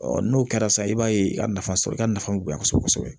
n'o kɛra sisan i b'a ye i ka nafa sɔrɔ i ka nafa bɛ bonya kosɛbɛ kosɛbɛ